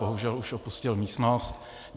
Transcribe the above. Bohužel už opustil místnost.